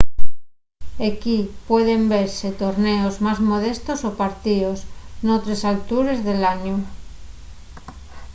equí pueden vese torneos más modestos o partíos n’otres altures del añu